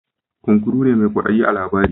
Kunkuru ne mai kwaɗayi a labarin.